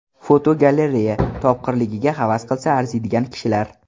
Fotogalereya: Topqirligiga havas qilsa arziydigan kishilar.